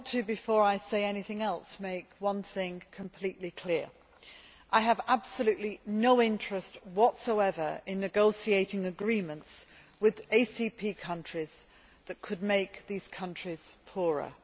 Before I say anything else, I would like to make one thing completely clear I have absolutely no interest whatsoever in negotiating agreements with ACP countries that could make these countries poorer.